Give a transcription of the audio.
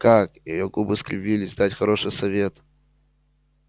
как её губы скривились дать хороший совет